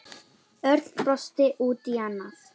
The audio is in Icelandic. Örn brosti út í annað.